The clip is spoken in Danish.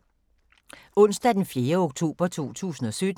Onsdag d. 4. oktober 2017